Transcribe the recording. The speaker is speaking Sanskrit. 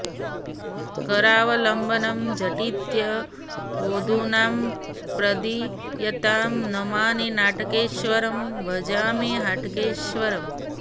करावलम्बनं झटित्य होधुनां प्रदीयतां नमामि नाटकेश्वरं भजामि हाटकेश्वरम्